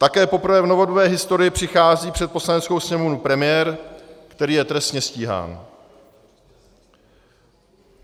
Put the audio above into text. Také poprvé v novodobé historii přichází před Poslaneckou sněmovnu premiér, který je trestně stíhán.